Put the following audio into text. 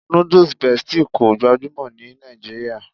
Nudus Bestie kò gbajúmọ̀ ní Nàìjíríà